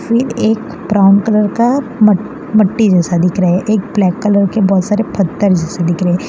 ये एक brown colour का मट मट्टी जैसा दिख रहा है एक ब्लैक कलर के पत्थर जैसे दिख रहे है।